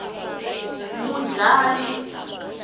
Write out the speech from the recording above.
mudlayi